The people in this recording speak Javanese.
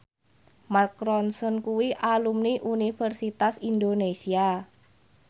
Mark Ronson kuwi alumni Universitas Indonesia